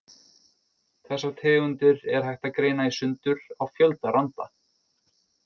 Þessar tegundir er hægt að greina í sundur á fjölda randa.